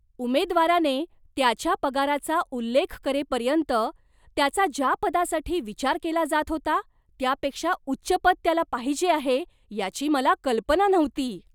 उमेदवाराने त्याच्या पगाराचा उल्लेख करेपर्यंत, त्याचा ज्या पदासाठी विचार केला जात होता त्यापेक्षा उच्च पद त्याला पाहिजे आहे याची मला कल्पना नव्हती.